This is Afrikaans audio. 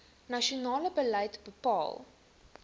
nasionale beleid bepaal